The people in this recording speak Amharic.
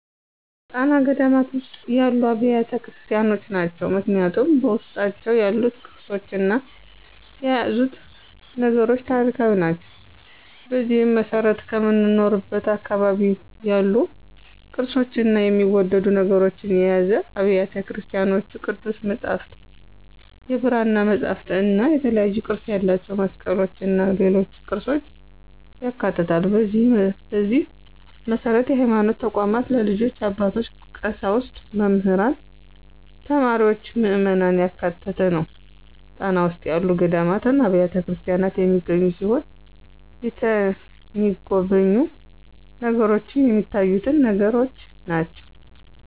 ጣና ገዳማት ውስጥ ያሉ አብያተ ክርስቲያኖች ናቸው። ምክንያቱም በውስጣቸው ያሉት ቅርሶችና የያዙት ነገሮች ታሪካዊ ናቸው። በዚህም መሰረት ከምኖርበት አካባቢ ያሉ ቅርፆችና የሚወደዱ ነገሮችን የያዙ አብያተ ቤተክርስቲያኖች ቅዱስ መፅሐፍት፣ የብራና መፅሐፍትእና የተለያዩ ቅርፅ ያላቸው መስቀሎችና ሌሎች ቅርፆችን ያካትታል፣ በዚህ መሰረት በሀይማኖት ተቋማት ልጆች፣ አባቶች፣ ቀሳውስት፣ መምህራን፣ ተማሪዎችና ምዕመናን ያካተተ ነው። ጣና ውስጥ ያሉ ገዳማትና አብያተክርስቲያናት የሚገኙ ሲሆን የተሚጎበኙ ነገሮችንም ሚታዩትን ነገሮች ናቸው።